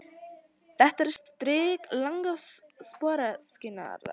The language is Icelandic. Þetta strik verður langás sporöskjunnar.